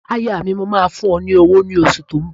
Aya mi, mò máa fún ọ lówó ní oṣù tó ń bọ̀.